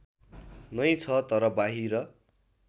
नै छ तर बाहिर